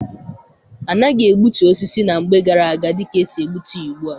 Anaghị egbutu osisi na mgbe gara-aga dịka esi egbutu ya ugbua.